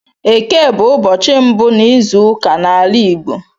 Éké bụ ụbọchị mbụ n'izuụka n'ala Igbo